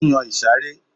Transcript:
Ó yan ìsàré